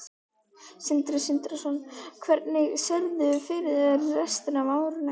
Sindri Sindrason: Hvernig sérðu fyrir þér restina af árinu?